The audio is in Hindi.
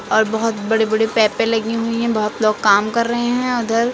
और बहुत बड़े बड़े पेपे लगी हुई हैं बहुत लोग काम कर रहे हैं उधर।